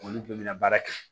Olu bɛɛ bɛna baara kɛ